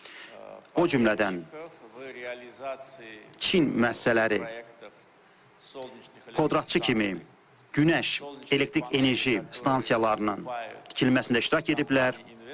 O cümlədən Çin məsələləri podratçı kimi günəş elektrik enerji stansiyalarının tikilməsində iştirak ediblər.